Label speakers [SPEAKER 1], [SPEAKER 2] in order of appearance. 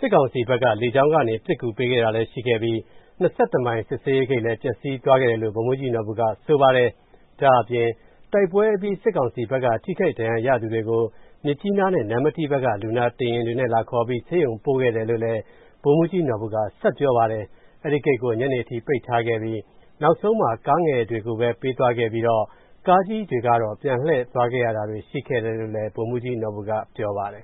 [SPEAKER 1] စစ်ကောင်စီဘက်က လေကြောင်းကနေ ပစ်ကူပေးခဲ့တာလည်း ရှိခဲ့ပြီး ၂၁ မိုင် စစ်ဆေးရေးဂိတ်လည်း ပျက်စီးသွားခဲ့တယ်လို့ ဗိုလ်မှူးကြီးနော်ဘူက ဆိုပါတယ်။ ဒါ့အပြင် တိုက်ပွဲအပြီး စစ်ကောင်စီဘက်က ထိခိုက်ဒဏ်ရာရသူတွေကို မြစ်ကြီးနားနဲ့ နမ္မတီးဘက်က လူနာတင်ယဉ်တွေနဲ့ လာခေါ်ပြီး ဆေးရုံပို့ခဲ့တယ်လို့ ဗိုလ်မှူးကြီး နော်ဘူက ဆက်ပြောပါတယ်။ အဲဒီဂိတ်ကို ညနေအထိ ပိတ်ထားခဲ့ပြီး နောက်ဆုံးမှာ ကားငယ်တွေကိုပဲ ပေးသွားခဲ့ပြီးတော့ ကားကြီးတွေကတော့ ပြန်လှည့်သွားရတာတွေ ရှိခဲ့တယ်လို့လည်း ဗိုလ်မှူးကြီးနော်ဘူက ပြောပါတယ်